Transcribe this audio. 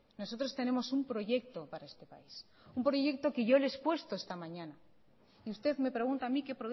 nosotros tenemos un proyecto para este país un proyecto que yo le he expuesto esta mañana y usted me pregunta a mí qué